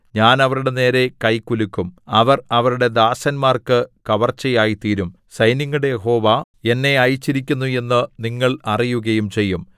ഞാൻ അവരുടെ നേരെ കൈ കുലുക്കും അവർ അവരുടെ ദാസന്മാർക്ക് കവർച്ചയായ്തീരും സൈന്യങ്ങളുടെ യഹോവ എന്നെ അയച്ചിരിക്കുന്നു എന്നു നിങ്ങൾ അറിയുകയും ചെയ്യും